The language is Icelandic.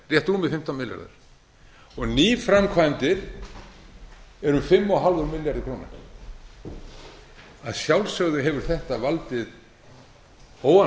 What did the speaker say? rétt rúmir fimmtán milljarðar og nýframkvæmdir eru um fimm og hálfur milljarður króna að sjálfsögðu hefur þetta valdið óánægju